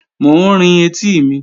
Mò ń rin etí mi